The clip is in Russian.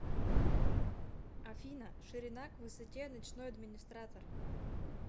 афина ширина к высоте ночной администратор